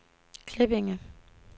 Klippinge